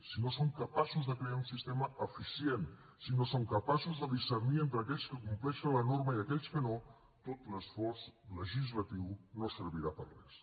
si no som capaços de crear un sistema eficient si no som capaços de discernir entre aquells que compleixen la norma i aquells que no tot l’esforç legislatiu no servirà per a res